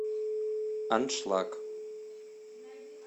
аншлаг